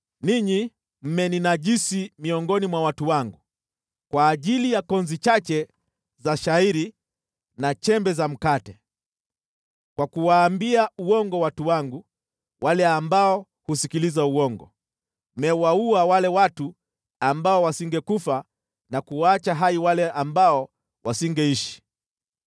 Ninyi mmeninajisi miongoni mwa watu wangu kwa ajili ya konzi chache za shayiri na chembe za mkate. Kwa kuwaambia uongo watu wangu, wale ambao husikiliza uongo, mmewaua wale watu ambao wasingekufa na kuwaacha hai wale ambao wasingeishi.